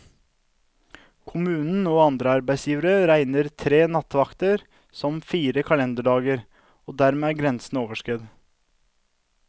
Kommunen og andre arbeidsgivere regner tre nattevakter som fire kalenderdager, og dermed er grensen overskredet.